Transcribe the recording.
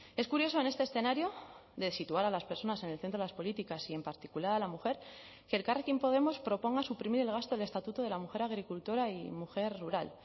es curioso en este escenario de situar a las personas en el centro de las políticas y en particular a la mujer que elkarrekin podemos proponga suprimir el gasto del estatuto de la mujer agricultora y mujer rural